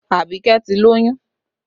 Abike ti lóyún